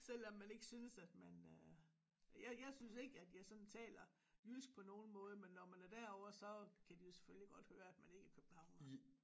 Selvom man ikke synes at man øh jeg jeg synes ikke at jeg sådan taler jysk på nogen måde men når man er derovre så kan de jo selvfølgelig godt høre at man ikke er københavner